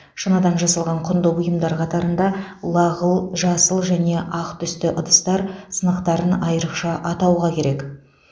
шыныдан жасалған құнды бұйымдар қатарында лағыл жасыл және ақ түсті ыдыстар сынықтарын айрықша атауға керек